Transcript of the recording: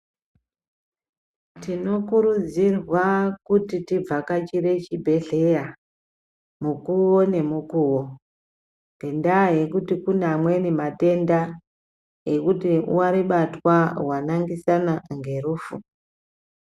Tinokurudzirwa kuti tivhakachire chibhedhleya mukuwo nemukuwo ngenyaya yekuti kune amweni matenda ekuti waribatwa wanaangisana ngerufu.